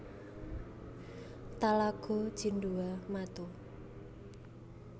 Talago Cindua Mato